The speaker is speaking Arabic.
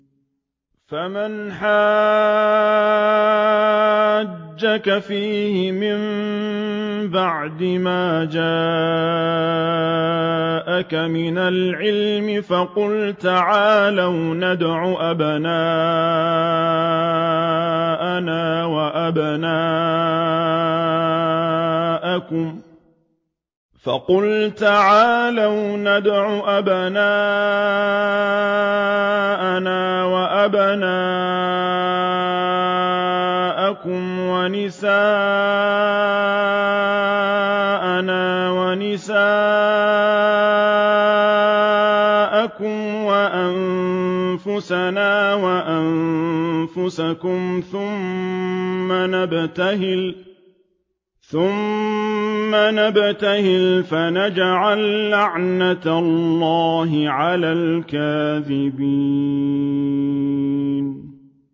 فَمَنْ حَاجَّكَ فِيهِ مِن بَعْدِ مَا جَاءَكَ مِنَ الْعِلْمِ فَقُلْ تَعَالَوْا نَدْعُ أَبْنَاءَنَا وَأَبْنَاءَكُمْ وَنِسَاءَنَا وَنِسَاءَكُمْ وَأَنفُسَنَا وَأَنفُسَكُمْ ثُمَّ نَبْتَهِلْ فَنَجْعَل لَّعْنَتَ اللَّهِ عَلَى الْكَاذِبِينَ